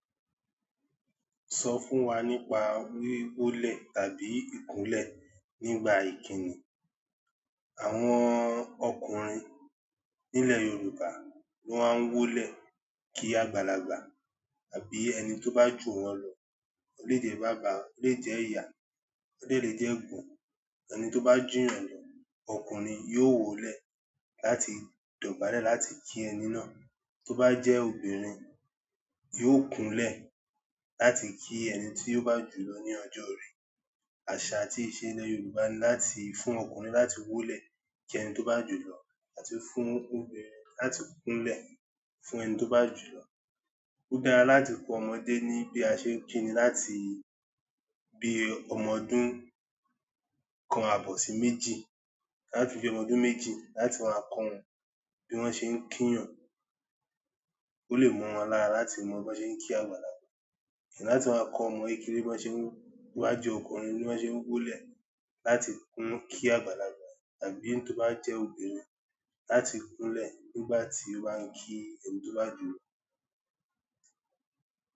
Sọ fún wa nípa wí wólẹ̀ tàbí ìkúnlẹ̀ nígbà ìkíni. Àwọn ọkùnrin nílẹ̀ Yorùbá ló máa ń wólẹ̀ kí àgbàlagbà àbí ẹni tó bá jù wọ́n lọ. Ó lè jẹ́ bàbá, ó lè jẹ́ ìyá, ó lè jẹ́ eégbon. Ẹni tó bá jù ẹ lọ, ọkùnrin yóò wólẹ̀ láti dọ̀bálẹ̀ láti kí ẹni náà. Tó bá jẹ́ obìnrin, yóò kúnlẹ̀ láti kí ẹni tí yóò bá jù lọ ní ọjọ́ orí. Àṣà àti ìṣe ílẹ̀ Yorùbá ní láti fún ọkùnrin láti wólẹ̀ kí ẹni tó bá jù lọ àti fún obìnrin láti kúnlẹ̀ fún ẹni tó bá jù lọ. Ó dára láti kọ́ ọmọdé ní bí a ṣe ń kíni láti bí ọmọ ọdún kan àbọ̀ sí méjì, láti bí ọmọ ọdún méjì láti máa kọ́ wọn bí wọ́n ṣe ń kí ènìyàn. Ó lè mọ́ wọn lára láti mọ bí wọ́n ṣe ń kí àgbàlagbà. Kíni láti máa kọ́ ọmọ kékeré bí wọ́n ṣe ń, bí wọ́n jẹ́ ọkùnrin, bí wọ́n ṣe ń wólẹ̀ láti kun kí àgbàlagbà àbí tó bá jẹ́ obìnrin, láti kúnlẹ̀ nígbà tí wọ́n ń kí ẹni tó bá jù lọ.